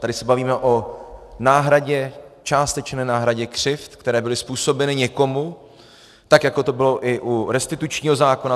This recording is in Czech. Tady se bavíme o náhradě, částečné náhradě křivd, které byly způsobeny někomu tak, jako to bylo i u restitučního zákona.